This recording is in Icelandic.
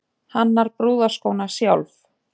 Hannar brúðarskóna sjálf